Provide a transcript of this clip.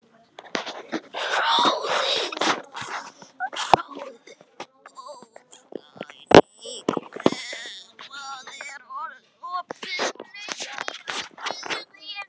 Hróðný, hvað er opið lengi á þriðjudaginn?